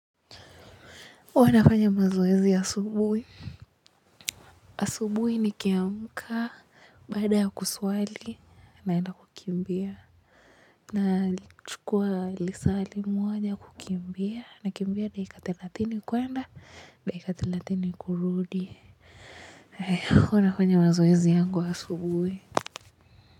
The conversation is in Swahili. Wanafanya mazoezi ya asubuhi. Asubuhi nikiamka, baada ya kuswali, naenda kukimbia. Nachukua lisaa limoja kukimbia, nakimbia dakika thelathini kuenda, dakika thelathini kurudi. Huwa nafanya mazoezi yangu asubuhi.